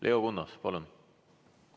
Leo Kunnas, palun!